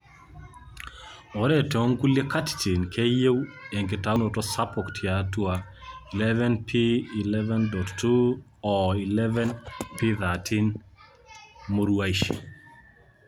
ore tongulie katitin keyieu enkitaunoto sapuk tiatuq 11p11.2 oo 11p13 muruashi